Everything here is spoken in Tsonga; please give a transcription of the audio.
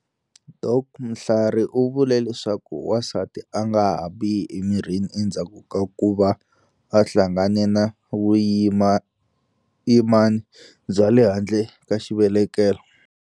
Dok Mhlari u vule leswaku wansati a nga ha biha emirini endzhaku ka ku va a hlangane na vuyimani bya le handle ka xivelekelo.